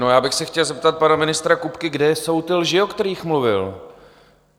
No, já bych se chtěl zeptat pana ministra Kupky, kde jsou ty lži, o kterých mluvil?